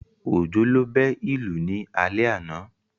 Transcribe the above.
Òjó ló bẹ́ ìlù ní alẹ́ àná